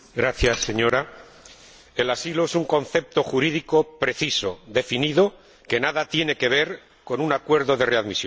Señora Presidenta, el asilo es un concepto jurídico preciso, definido, que nada tiene que ver con un acuerdo de readmisión.